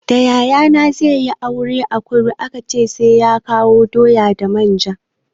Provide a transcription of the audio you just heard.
Da yayana zai yi aure a kudu aka ce sai ya kawo doya da manja.